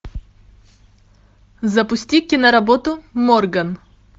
запусти киноработу морган